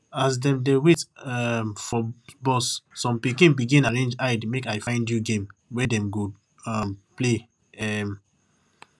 as dem dey wait um for bus some pikin begin arrange hidemakeifindyou game wey dem go um play um